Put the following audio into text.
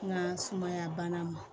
N ka sumaya bana ma